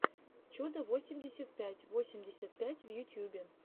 чудо восемьдесят пять восемьдесят пять в ютьюбе